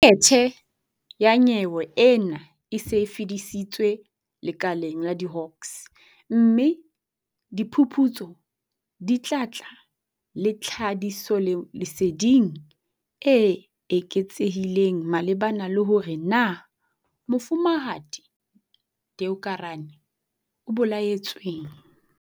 Dokethe ya nyewe ena e se e fetiseditswe lekaleng la di-Hawks, mme diphuputso di tla tla le tlhahisoleseding e eketsehileng malebana le hore na Mofumahadi Deokaran o bolaetsweng.